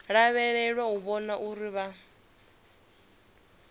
lavhelelwa u vhona uri vha